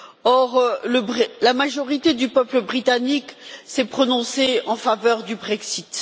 Or, la majorité du peuple britannique s'est prononcé en faveur du Brexit.